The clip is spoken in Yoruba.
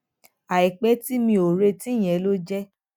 àìpé tí mi ò retí yẹn ló jé